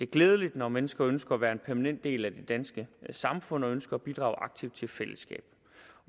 glædeligt når mennesker ønsker at være en permanent del af det danske samfund og ønsker at bidrage aktivt til fællesskabet